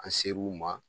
An ser'u ma